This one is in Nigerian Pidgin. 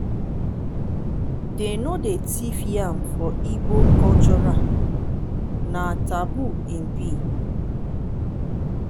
dey no dey thief yam for igbo cultural na taboo im be.